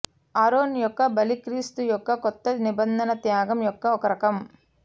Aaron యొక్క బలి క్రీస్తు యొక్క క్రొత్త నిబంధన త్యాగం యొక్క ఒక రకం